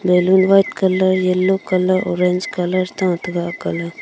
balloon white colour yellow colour orange colour ta tega aak ga ley.